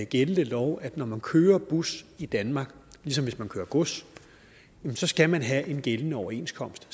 gældende lov at når man kører bus i danmark ligesom hvis man kører gods så skal man have en gældende overenskomst